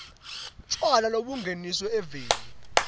tjwala lobungeniswe eveni